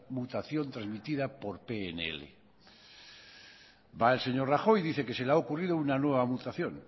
mutación transmitida por pnl va el señor rajoy y dice que se le ha ocurrido una nueva mutación